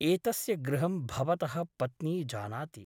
एतस्य गृहं भवतः पत्नी जानाति ।